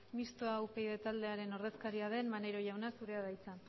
mistoa upyd taldearen ordezkaria den maneiro jauna zurea da hitza